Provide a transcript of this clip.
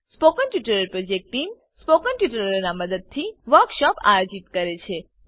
spoken tutorial project ટીમ160 spoken ટ્યુટોરીયલોનાં ઉપયોગથી વર્કશોપોનું આયોજન કરે છે